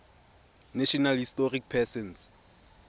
national historic persons